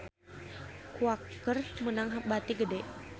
Quaker meunang bati gede